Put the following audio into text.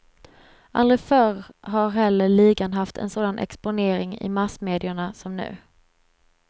Aldrig förr har heller ligan haft en sån exponering i massmedierna som nu.